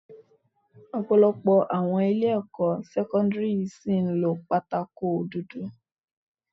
Ọ̀pọ̀lọpọ̀ àwọn ilé ẹ̀kọ́ sẹ́kọ́ńdírì ṣìí ń lo pátákó dúdú.